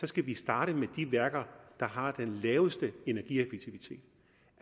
skal starte med de værker der har den laveste energieffektivitet